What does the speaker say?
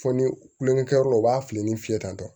Fɔ ni kulonkɛ kɛ yɔrɔ la u b'a fili ni fiyɛ tan